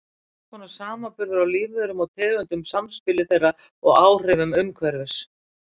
Hvers konar samanburður á lífverum og tegundum, samspili þeirra og áhrifum umhverfis.